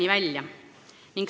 Aitäh!